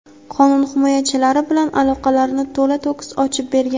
qonun himoyachilari bilan aloqalarini to‘la-to‘kis ochib bergan.